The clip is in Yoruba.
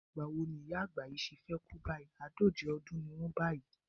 Ìgbà wo ni ìyá àgbà yìí ṣe fẹ́ kú báyìí, àádóje ọdún ni wọ́n báyìí?